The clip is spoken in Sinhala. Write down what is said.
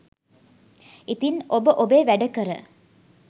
ඉතින් ඔබ ඔබේ වැඩ කර